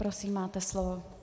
Prosím, máte slovo.